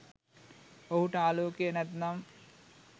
ඔහුට ආලෝකය නැත්තම්